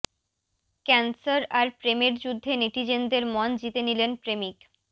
cancer আর প্রেমের যুদ্ধে নেটিজেনদের মন জিতে নিলেন প্রেমিক